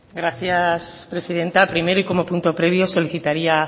gracias presidenta primero y como punto previo solicitaría